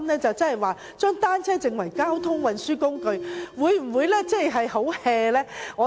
將單車定為交通運輸工具，會否太隨便？